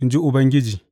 in ji Ubangiji.